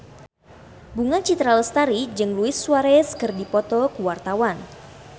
Bunga Citra Lestari jeung Luis Suarez keur dipoto ku wartawan